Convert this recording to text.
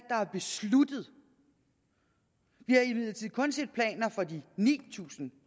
er besluttet vi har imidlertid kun set planer for de ni tusind